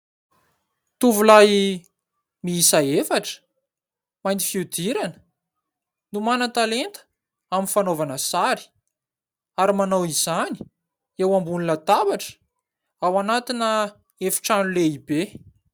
Tovolahy miisa efatra mainty fihodirana no manan-talenta amin'ny fanaovana sary ary manao izany eo ambony latabatra ao anatina efitrano lehibe.